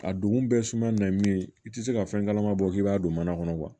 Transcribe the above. A don bɛɛ suma na ni ye i tɛ se ka fɛn kalama bɔ k'i b'a don mana kɔnɔ